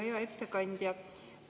Hea ettekandja!